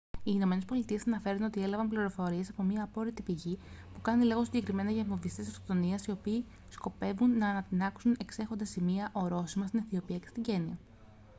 οι ηνωμένες πολιτείες αναφέρουν ότι έλαβαν πληροφορίες από μια απόρρητη πηγή που κάνει λόγο συγκεκριμένα για βομβιστές αυτοκτονίας οι οποίοι σκοπεύουν να ανατινάξουν «εξέχοντα σημεία-ορόσημα» στην αιθιοπία και στην κένυα